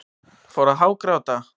Fór að hágráta.